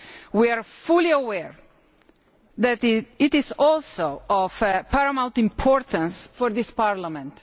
We are fully aware that it is also of paramount importance for this Parliament.